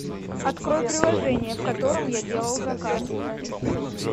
открой приложение в котором я делал заказ